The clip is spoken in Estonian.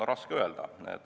Raske öelda.